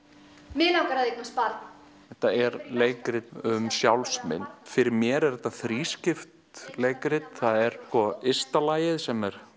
mig langar að eignast barn þetta er leikrit um sjálfsmynd fyrir mér er þetta þrískipt leikrit ysta lagið sem er